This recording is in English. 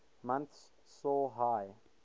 months saw high